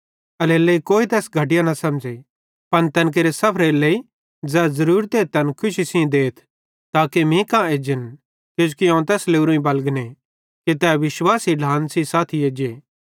एल्हेरेलेइ कोई तैस घटिया न समझ़े पन तैन केरे सफरेरे लेइ ज़ै ज़रूरते तैन खुशी सेइं देथ ताके मीं कां एज्जन किजोकि अवं तैस लोरोईं बलगने कि तै विश्वासी ढ्लान सेइं साथी एज्जे